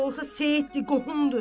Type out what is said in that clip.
Necə olsa seyyiddir, qohumdur.